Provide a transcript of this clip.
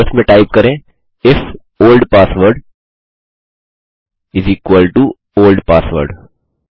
database में type करें if the old password is equal to the old password